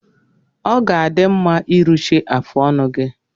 Ọ ga-adị mma iruchi afụ ọnụ gi